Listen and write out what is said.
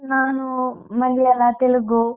ನಾನು ಮಲಯಾಳ ತೆಲುಗು.